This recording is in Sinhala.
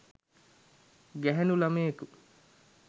ගැහැණු ළමයෙකු